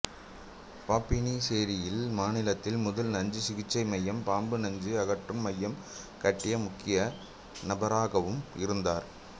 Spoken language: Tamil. பாப்பினிசேரியில் மாநிலத்தில் முதல் நஞ்சு சிகிச்சை மையம் பாம்பு நஞ்சு அகற்றும் மையம் கட்டிய முக்கிய நபராகவும் இருந்தார்